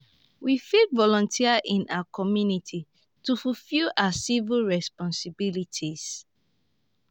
we fit volunteer in our community to fulfill our civic responsibilities.